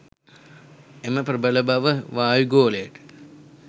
එම ප්‍රබල බව වායුගෝලයට